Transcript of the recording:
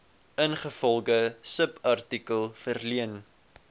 ingevolge subartikel verleen